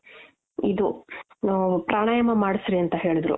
ಇದು ಆ ಪ್ರಾಣಾಯಾಮ ಮಾಡುಸ್ರಿ ಅಂತ ಹೇಳುದ್ರು.